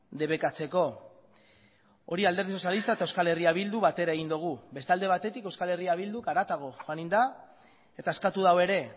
debekatzeko hori alderdi sozialista eta euskal herria bildu batera egin dugu beste alde batetik euskal herria bildu harago joan egin da eta eskatu du ere